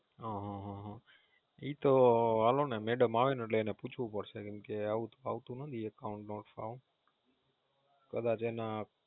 હમ ઈ તો હાલો ને મેડમ આવે એટલે પૂછવું પડશે કેમકે આવું તો આવતું નથી Account not found. કદાચ એના